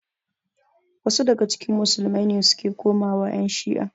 Wasu daga cikin musulmai ne suke komawa ƴan shi'a.